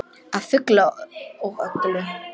Að fullu og öllu.